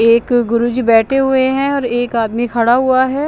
एक गुरूजी बेठे हुए हें और एक आदमी खड़ा हुआ हैं।